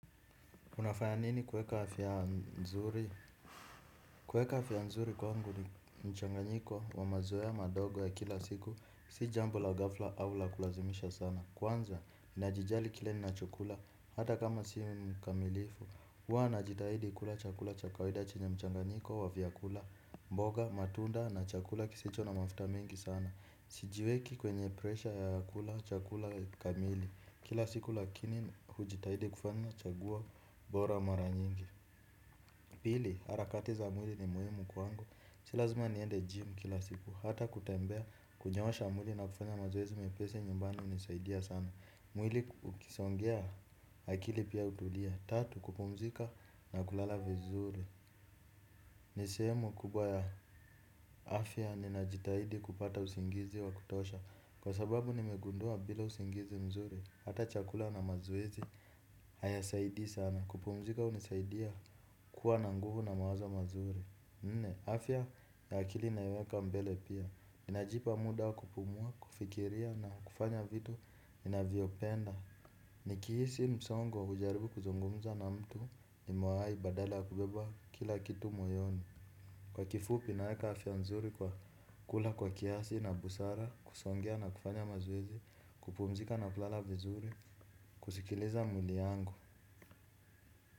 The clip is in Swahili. Unafaya nini kuweka afya nzuri kwangu ni mchanganyiko wa mazoea madogo ya kila siku si jambo la ghafla au la kulazimisha sana. Kwanza, najijali kile ninachokula hata kama si mkamilifu. Huwa najitahidi kula chakula cha kawaida chenye mchanganyiko wa vyakula, mboga, matunda na chakula kisicho na mafuta mingi sana. Sijiweki kwenye presha ya kula chakula kamili. Kila siku lakini hujitahidi kufanya chaguo bora mara nyingi. Pili, harakati za mwili ni muhimu kwangu. Si lazima niende jimu kila siku. Hata kutembea, kunyoosha mwili na kufanya mazoezi mepesi nyumbani hunisaidia sana. Mwili ukisongea, akili pia hutulia. Tatu, kupumzika na kulala vizuri. Ni sehemu kubwa ya afya ninajitahidi kupata usingizi wa kutosha. Kwa sababu nimegundua bila usingizi mzuri. Hata chakula na mazoezi, hayasaidii sana. Kupumzika hunisaidia kuwa na nguvu na mawazo mazuri. Nne, afya ya akili naiweka mbele pia. Ninajipa muda wa kupumua, kufikiria na kufanya vitu ninavyopenda. Nikihisi msongo hujaribu kuzungumza na mtu nimewahi badala kubeba kila kitu moyoni. Kwa kifupi naeka afya nzuri kwa kula kwa kiasi na busara, kusongea na kufanya mazoezi, kupumzika na kulala vizuri, kusikiliza mwili yangu.